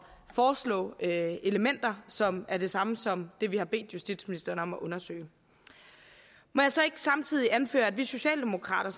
foreslå elementer som er det samme som det vi har bedt justitsministeren om at undersøge må jeg så ikke samtidig anføre at vi socialdemokrater